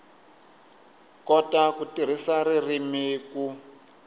kota ku tirhisa ririmi ku